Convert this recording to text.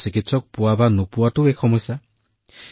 আৰু এজন চিকিৎসক উপলব্ধ হব নে নাই এইটোও এটা সমস্যা